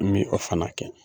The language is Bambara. N bɛ o fana kɛ.